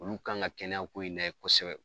Olu kan ka kɛnɛyako in lajɛ kosɛbɛ.